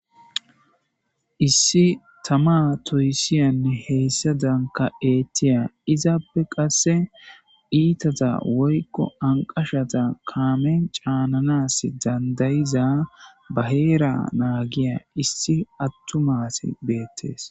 Issi tama toyisiya nne hesadanka etiya izappe qasika ithaza woyiko anqashata kamen ca,ananas dandayiza ba hera nagiya issi atuma asi betees